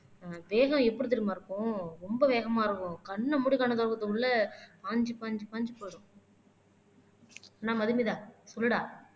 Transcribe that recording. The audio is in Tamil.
வேகம் எப்படி தெரியுமா இருக்கும் ரொம்ப வேகமா இருக்கும் கண்ணை மூடி கண்ணை திறந்து உள்ளே பாஞ்சு பாஞ்சு பாஞ்சு போயிடும் என்ன மதுமிதா சொல்லுடா